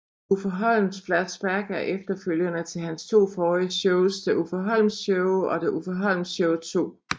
Uffe Holms Flashback er efterfølgerne til hans to forrige shows The Uffe Holm Show og The Uffe Holm Show 2